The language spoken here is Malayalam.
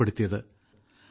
അടിയന്തരാവസ്ഥ നിലവിൽ വന്നത്